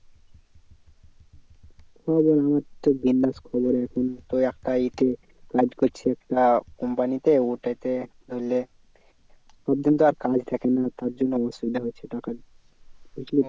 খবর আমার তো বিন্দাস খবর এখন তো একটা এতে কাজ করছি একটা company তে ওটাতে ধরেনে সব দিন তো আর কাজ থাকে না তার জন্য অসুবিধা হচ্ছে টাকার বুঝলি